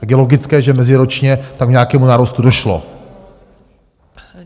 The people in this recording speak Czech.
Tak je logické, že meziročně tam k nějakému nárůstu došlo.